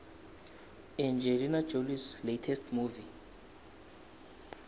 angelina jolies latest movie